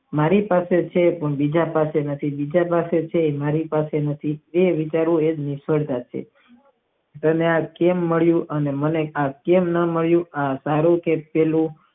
મારી પાસે છે પણ બીજા પાસે નથી બીજા પાસે છે પણ મારી પાસે નથી એ વિચારવી એક નિષ્ફળતા છે દેવા કેમ મળવું અને મને આ કેમ ન મળ્યું આ તારું કહેલું